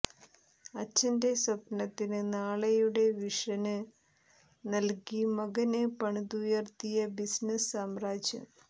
അച്ഛന്റെ സ്വപ്നത്തിന് നാളെയുടെ വിഷന് നല്കി മകന് പണിതുയര്ത്തിയ ബിസിനസ് സാമ്രാജ്യം